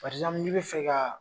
n'i bɛ fɛ ka.